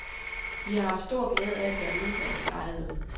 Vi har haft stor glæde af at være udenlandsk ejede.